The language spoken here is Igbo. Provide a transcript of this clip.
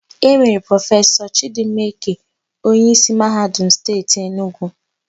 E mere Prọfesọ Chịdịmma Eke onyeísí Mahadum Steeti Enugwu.